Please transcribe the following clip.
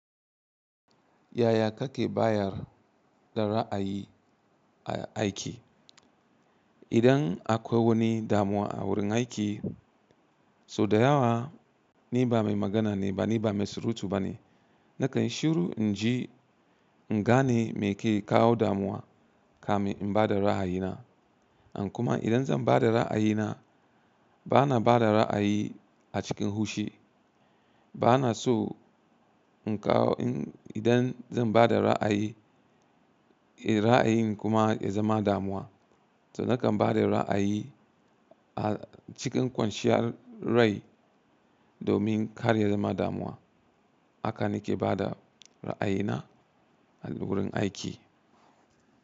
Yaya kake bayar da ra'ayi a aiki? Idan akwai wani damuwa a wurin aiki, so da yawa ni ba mai magana ne ba, ni ba mai surutu ba ne. Nakan shiru, inji in gane me ke kawo damuwa, kamin in bada ra'ayina. In kuma idan zan bada ra'ayina, bana bada ra'ayi a cikin hushi. Bana so in kawo in idan zan bada ra'ayi, eh ra'ayin kuma ya zama damuwa. To nakan bada ra'ayi a cikin kwanciyar rai domin karya zama damuwa. Haka nake bada ra'ayina a wurin aiki.